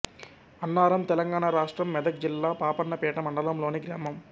అన్నారం తెలంగాణ రాష్ట్రం మెదక్ జిల్లా పాపన్నపేట మండలంలోని గ్రామం